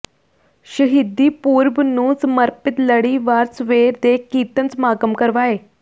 ਸ਼ਹੀਦੀ ਪੁਰਬ ਨੂੰ ਸਮਰਪਿਤ ਲੜੀਵਾਰ ਸਵੇਰ ਦੇ ਕੀਰਤਨ ਸਮਾਗਮ ਕਰਵਾਏ